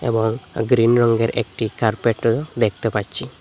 এবং গ্রীন রঙ্গের একটি কার্পেট দেখতে পাচ্ছি।